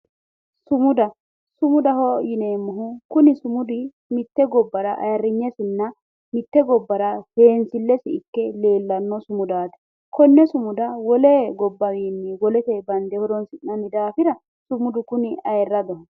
Sumudaho. Sumudaho yineemmohu kuni sumudi mitte gobbara ayirinyesenna mitte gobbara seensillese ikke leellanno sumudaati. Konne sumuda wole gobbawiinni dange woleteyi dange horoonsi'nayihura sumudu kuni ayirradoho.